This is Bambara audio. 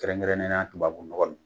Kɛrɛnkɛrɛnnen na tubabu nɔgɔ don.